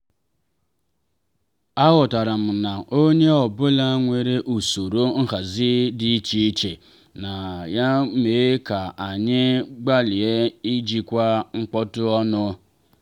aghọtara m na onye ọ bụla nwere usoro nhazi di iche iche ya mere ka anyị gbalịa ijikwa mkpọtụ ọnụ.